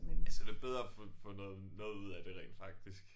Ja så det bedre at få få noget noget ud af det rent faktisk